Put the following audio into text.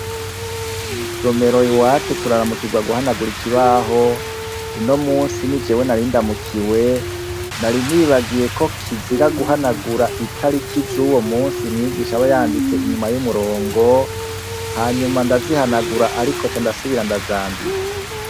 Mw' isomero iwacu turaramukirwa guhanagura ikibaho. Uno munsi ni jewe nari ndamukiwe nari nibagiye ko kizira guhanagura itariki z'uwo munsi, mwigisha aba yanditse inyuma y'umurongo, hanyuma ndazihanagura ariko nca ndasubira ndazandika.